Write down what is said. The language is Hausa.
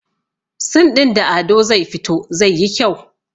sin ɗin da Ado zai fito zai yi kyau